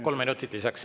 Kolm minutit lisaks.